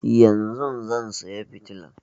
Yanzun zan saya fitilan